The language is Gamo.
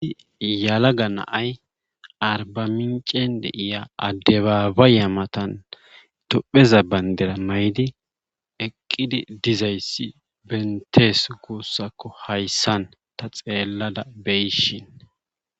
Yelaga na'ay arbaminccen de'iya adabaayiya matan itopheza bandira mayidi eqqidi dizayssi bentes guussakko hayssan ta xeellada beyishin.